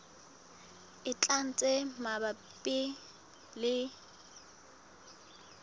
e tlang tse mabapi le